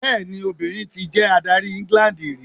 Bẹẹni, obìnrin ti jẹ adárí England rí.